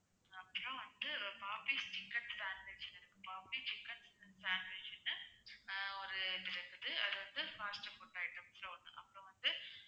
அப்பறம் வந்து popeyes chicken sandwich னு இருக்கு poppys chicken sandwich னு ஆஹ் ஒரு அது வந்து fast food items ல ஒண்ணுதான் அப்பறம் வந்து